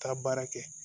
Taa baara kɛ